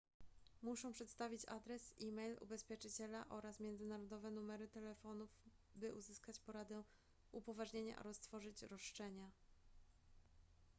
muszą przedstawić adres e-mail ubezpieczyciela oraz międzynarodowe numery telefonów by uzyskać poradę / upoważnienia oraz tworzyć roszczenia